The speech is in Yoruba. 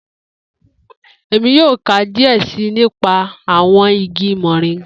Emi yoo ka diẹ sii nipa awọn igi moringa